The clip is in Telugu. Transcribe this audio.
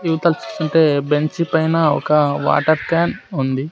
ఉంటే బెంచి పైన ఒక వాటర్ క్యాన్ ఉంది.